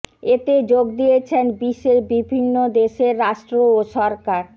এতে যোগ দিয়েছেন বিশ্বের বিভিন্ন দেশের রাষ্ট্র ও সরকার